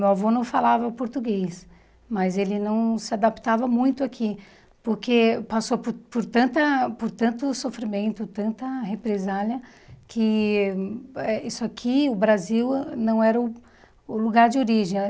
Meu avô não falava português, mas ele não se adaptava muito aqui, porque passou por por tanta por tanto sofrimento, tanta represália, que eh isso aqui, o Brasil, não era o o lugar de origem.